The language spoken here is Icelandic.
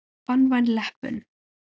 Banvæn leppun.